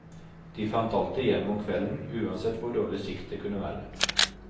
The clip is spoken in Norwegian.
De fant alltid hjem om kvelden, uansett hvor dårlig sikt det kunne være.